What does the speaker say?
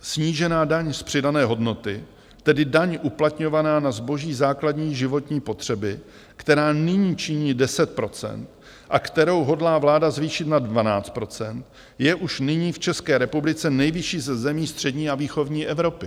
Snížená daň z přidané hodnoty, tedy daň uplatňovaná na zboží základní životní potřeby, která nyní činí 10 % a kterou hodlá vláda zvýšit na 12 %, je už nyní v České republice nejvyšší ze zemí střední a východní Evropy.